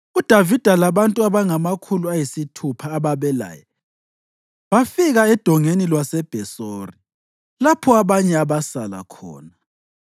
UDavida labantu abangamakhulu ayisithupha ababelaye bafika eDongeni lwaseBhesori, lapho abanye abasala khona,